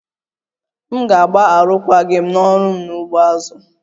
M ga-arụkwaghịm n'ọrụ m n'ugbo azụ